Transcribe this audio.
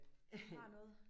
Du har noget